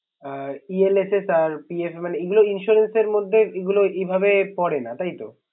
অ ELSS আর PFF মানে এগুলা insurance এর মধ্যে এগুলা এভাবে পরে না তাইতো